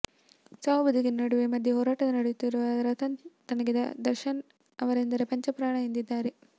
ಸಾವು ಬದುಕಿನ ನಡುವೆ ಮಧ್ಯೆ ಹೋರಾಡುತ್ತಿರುವ ರತನ್ ತನಗೆ ದರ್ಶನ್ ಅವರೆಂದರೆ ಪಂಚಪ್ರಾಣ ಎಂದಿದ್ದರು